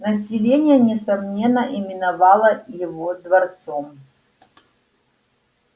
население несомненно именовало его дворцом